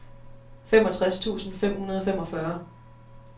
femogtres tusind fem hundrede og femogfyrre